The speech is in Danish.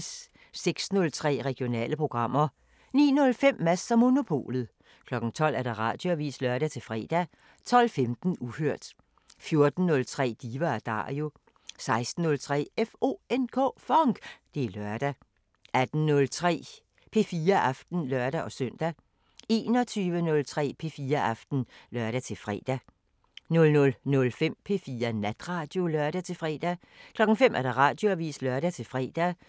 06:03: Regionale programmer 09:05: Mads & Monopolet 12:00: Radioavisen (lør-fre) 12:15: Uhørt 14:03: Diva & Dario 16:03: FONK! Det er lørdag 18:03: P4 Aften (lør-søn) 21:03: P4 Aften (lør-fre) 00:05: P4 Natradio (lør-fre) 05:00: Radioavisen (lør-fre)